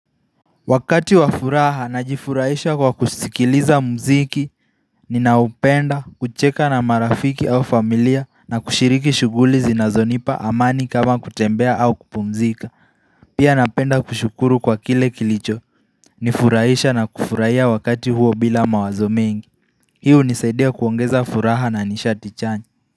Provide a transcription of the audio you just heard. Wakati wa furaha na jifurahisha kwa kusikiliza mziki, ninaupenda, kucheka na marafiki au familia na kushiriki shuguli zinazonipa amani kama kutembea au kupumzika. Pia napenda kushukuru kwa kile kilicho, nifurahisha na kufurahia wakati huo bila mawazo mengi. Hii hunisaidia kuongeza furaha na nishati chanye.